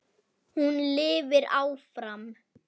Hún lifir áfram.